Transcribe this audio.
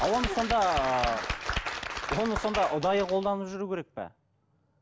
оны сонда ыыы оны сонда ұдайы қолданып жүру керек пе